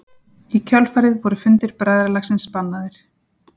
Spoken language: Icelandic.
í kjölfarið voru fundir bræðralagsins bannaðir